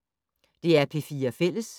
DR P4 Fælles